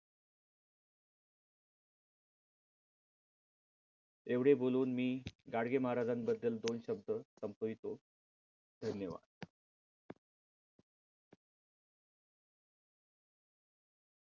एवढे बोलून मी गाडगे महाराजांबद्दल दोन शब्द संपवितो. धन्यवाद.